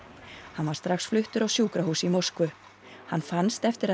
hann var strax fluttur á sjúkrahús í Moskvu hann fannst eftir að